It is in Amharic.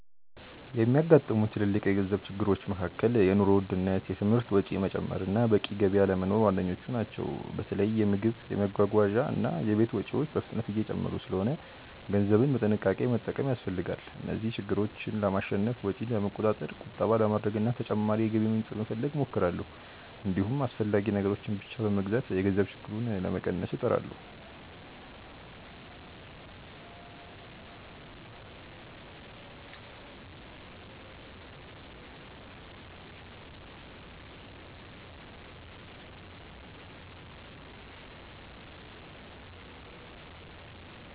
የሚያጋጥሙኝ ትልልቅ የገንዘብ ችግሮች መካከል የኑሮ ውድነት፣ የትምህርት ወጪ መጨመር እና በቂ ገቢ አለመኖር ዋነኞቹ ናቸው። በተለይ የምግብ፣ የመጓጓዣ እና የቤት ወጪዎች በፍጥነት እየጨመሩ ስለሆነ ገንዘብን በጥንቃቄ መጠቀም ያስፈልጋል። እነዚህን ችግሮች ለማሸነፍ ወጪን ለመቆጣጠር፣ ቁጠባ ለማድረግ እና ተጨማሪ የገቢ ምንጭ ለመፈለግ እሞክራለሁ። እንዲሁም አስፈላጊ ነገሮችን ብቻ በመግዛት የገንዘብ ችግሩን ለመቀነስ እጥራለሁ።